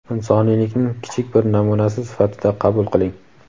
insoniylikning kichik bir namunasi sifatida qabul qiling.